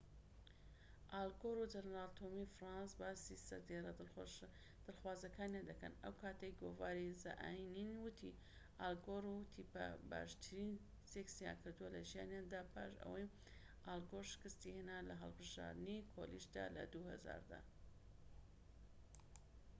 ئال گۆر و جەنەرال تۆمی فرانکس باسی سەردێڕە دڵخوازەکانیان دەکەن ئەوکاتەی گۆڤاری زە ئەنیەن وتی ئال گۆر و تیپەر باشترین سێکسیان کردووە لە ژیانیاندا پاش ئەوەی ئال گۆر شکستی هێنا لە هەڵبژاردنی کۆلیژدا لە ٢٠٠٠ دا